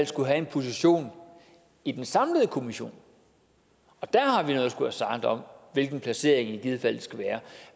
skulle have en position i den samlede kommission og der har vi noget at skulle have sagt om hvilken placering det i givet fald skal være